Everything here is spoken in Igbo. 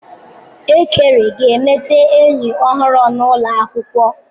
Ekere ga-emeta enyi ọhụrụ n'ụlọ akwụkwọ.